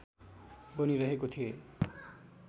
बनिरहेको थिए